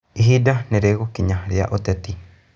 Ihinda nĩ rĩgũkinya ria ũteti.